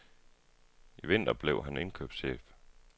I vinter blev han indkøbschef.